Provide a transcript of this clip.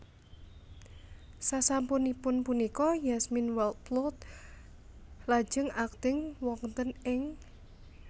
Sasampunipun punika Yasmine Wildblood lajeng akting wonten ing